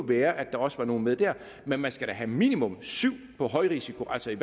være der også var nogle med der men man skal da have minimum syv på højrisikoankomsterne